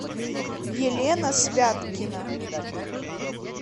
елена святкина